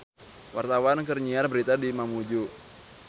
Wartawan keur nyiar berita di Mamuju